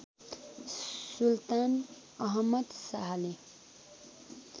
सुल्तान अहमद शाहले